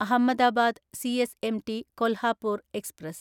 Ahmedabad CSMT Kolhapur express